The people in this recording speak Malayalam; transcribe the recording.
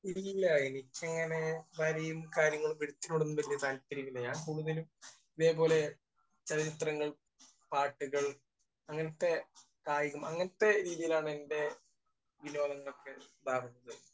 ഇല്ല. എനിക്കങ്ങനെ വരയും കാര്യങ്ങളും ഒന്നും വല്യ താല്പര്യമില്ല. ഞാൻ കൂടുതലും ഇതേപോലെ ചലച്ചിത്രങ്ങൾ, പാട്ടുകൾ അങ്ങനത്തെ കായികം അങ്ങനത്തെ രീതിയിലാണ് എന്റെ വിനോദങ്ങളൊക്കെ ഉണ്ടാകുന്നത്.